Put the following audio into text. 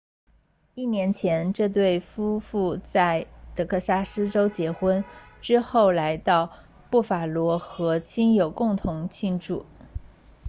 一年前这对夫妇在德克萨斯州结婚之后来到布法罗和亲友共同庆祝